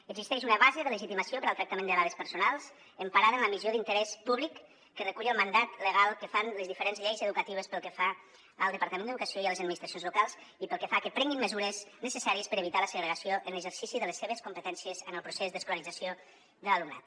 existeix una base de legitimació per al tractament de dades personals emparada en la missió d’interès públic que recull el mandat legal que fan les diferents lleis educatives pel que fa al departament d’educació i a les administracions locals i pel que fa a que prenguin mesures necessàries per evitar la segregació en l’exercici de les seves competències en el procés d’escolarització de l’alumnat